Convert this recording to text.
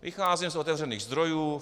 Vycházím z otevřených zdrojů.